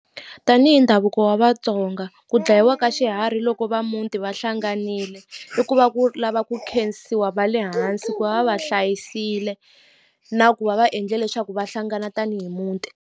Tanihi ndhavuko wa Vatsonga ku dlayiwa ka xiharhi loko va muti va hlanganile i ku va ku lava ku khensiwa va le hansi ku va va va hlayisekile na ku va va endle leswaku va hlangana tanihi muti.